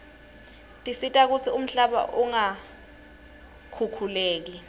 tisita kutsi umhlaba ungakhukhuleki